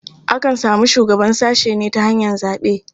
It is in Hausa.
Akan samu shugaban sashe ne ta hanyar zaɓe.